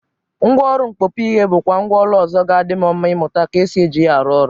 Ngwaọrụ mkpọpụ ihe bụkwa mgwa ọlụ ọzọ ga-adị m mma ịmụta ka esi eji ya arụ ọrụ.